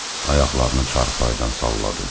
Ayaqlarını çarpayıdan salladı.